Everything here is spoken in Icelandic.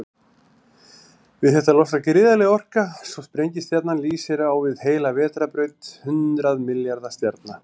Við þetta losnar gríðarleg orka, svo sprengistjarnan lýsir á við heila vetrarbraut hundrað milljarða stjarna.